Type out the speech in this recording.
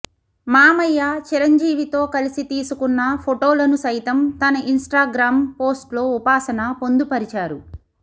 మామయ్య చిరంజీవితో కలిసి తీసుకున్న ఫొటోలను సైతం తన ఇన్స్టాగ్రామ్ పోస్ట్లో ఉపాసన పొందుపరిచారు